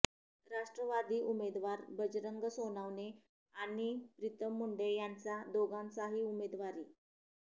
राष्ट्रवादीचे उमेदवार बजरंग सोनवणे आणि प्रितम मुंडे यांचा दोघांचाही उमेदवारी